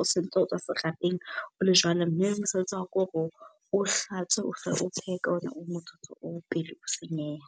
o sontso o tswa serapeng ole jwalo. Mme mosebetsi wa hao ke hore o hlatswe , o phehe ka ona motsotso oo pele o senyeha.